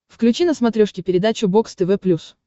включи на смотрешке передачу бокс тв плюс